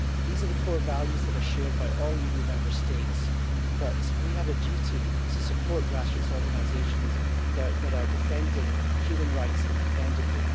These are the core values that are shared by all EU Member States, but we have a duty to support grassroots organisations that are defending human rights independently.